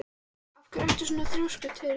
Af hverju ertu svona þrjóskur, Teresía?